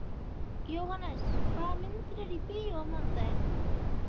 Jóhannes, hvaða myndir eru í bíó á mánudaginn?